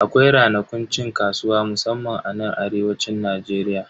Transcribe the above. Akwai ranakun cin kasuwa musamman anan arewacin Najeriya.